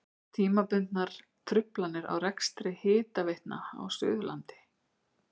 Tímabundnar truflanir á rekstri hitaveitna á Suðurlandi.